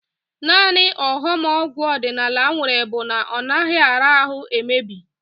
Naanị ọghọm ọgwụ ọdịnala nwere bụ na ọ naghị ara ahụ emebi